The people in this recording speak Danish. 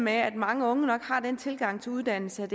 at mange unge nok har den tilgang til uddannelse at